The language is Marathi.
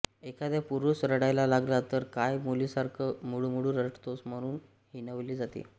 एखादा पुरुष रडायला लागला तर काय मुलीसारखा मुळूमुळू रडतोस म्हणून हिणवले जाते